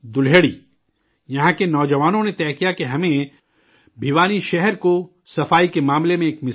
یہاں کے نوجوانوں نے طے کیا کہ ہمیں بھوانی شہر کو صفائی کے معاملے میں ایک مثال بنانا ہے